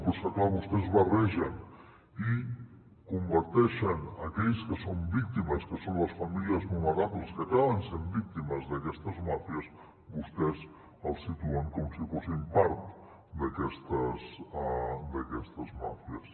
però és que clar vostès barregen i converteixen aquells que són víctimes que són les famílies vulnerables que acaben sent víctimes d’aquestes màfies vostès els situen com si fossin part d’aquestes màfies